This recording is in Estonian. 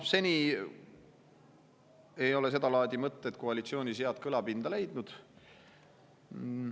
Seni ei ole seda laadi mõtted koalitsioonis head kõlapinda leidnud.